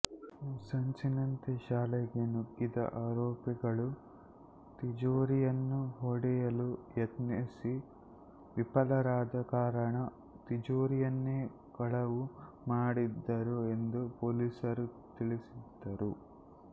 ಸಂಚಿನಂತೆ ಶಾಲೆಗೆ ನುಗ್ಗಿದ ಆರೋಪಿಗಳು ತಿಜೋರಿಯನ್ನು ಹೊಡೆಯಲು ಯತ್ನಿಸಿ ವಿಫಲರಾದ ಕಾರಣ ತಿಜೋರಿಯನ್ನೇ ಕಳವು ಮಾಡಿದ್ದರು ಎಂದು ಪೊಲೀಸರು ತಿಳಿಸಿದರು